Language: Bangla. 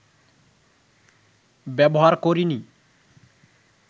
ব্যবহার করিনি